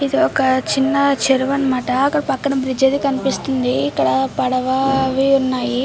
ఇది వక చిన్న చేరువ అన్న మాట మనకు ఇక్కడ పడవ అవి ఉన్నాయి.